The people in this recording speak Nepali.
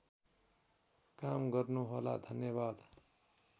काम गर्नुहोला धन्यवाद